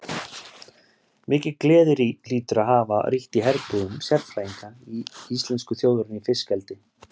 Mikil gleði hlýtur að hafa ríkt í herbúðum sérfræðinga íslensku þjóðarinnar í fiskeldi.